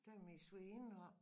Der min svigerinde oppe